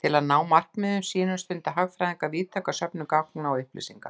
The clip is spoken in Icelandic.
Til að ná markmiðum sínum stunda hagfræðingar víðtæka söfnun gagna og upplýsinga.